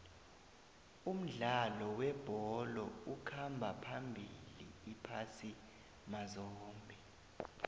umdlalo webholo ukhamba phambili iphasi mazombe